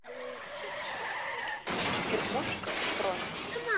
иркутск бронь